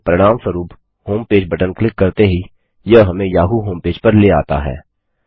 इसके परिणामस्वरूप homepage button click करते ही यह हमें याहू होमपेज पर ले आता है